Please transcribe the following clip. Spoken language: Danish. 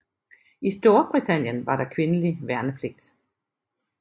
I Storbritannien var der kvindelig værnepligt